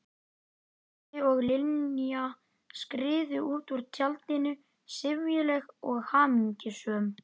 Tóti og Linja skriðu út úr tjaldinu, syfjuleg og hamingjusöm.